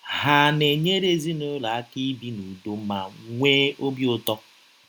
Hà na - enyere ezinụlọ aka ibi n’ụdọ ma nwee ọbi ụtọ?